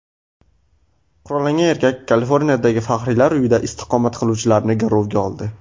Qurollangan erkak Kaliforniyadagi faxriylar uyida istiqomat qiluvchilarni garovga oldi.